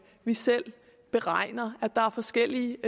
vi selv beregner der er forskellige